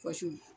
Kɔsu